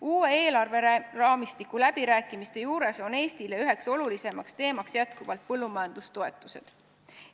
Uue eelarveraamistiku läbirääkimistel on Eesti üheks olulisemaks teemaks jätkuvalt põllumajandustoetused.